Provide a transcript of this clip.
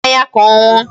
Nye ya mmanya ka ọ ṅụọ.